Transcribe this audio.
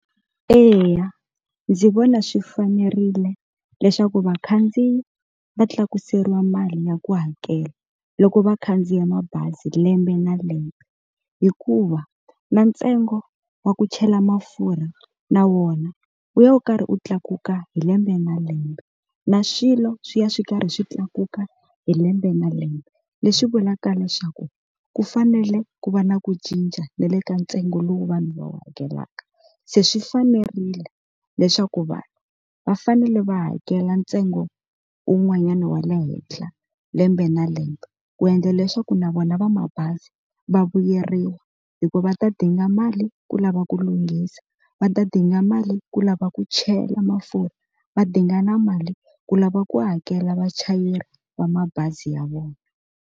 Eya, ndzi vona swi fanerile leswaku vakhandziyi va tlakuseriwa mali ya ku hakela loko vakhandziya mabazi lembe na lembe hikuva na ntsengo wa ku chela mafurha na wona wu ya wu karhi wu tlakuka hi lembe na lembe na swilo swi ya swi karhi swi tlakuka hi lembe na lembe, leswi vulaka leswaku ku fanele ku va na ku cinca na le ka ntsengo lowu vanhu va hakelaka se swi fanerile leswaku vanhu va fanele va hakela ntsengo un'wanyana wa le henhla lembe na lembe ku endla leswaku na vona va mabazi va vuyeriwa hikuva va ta dinga mali ku lava ku lunghisa va ta dinga mali ku lava ku chela mafurha va dinga na mali ku lava ku hakela vachayeri va mabazi ya vona.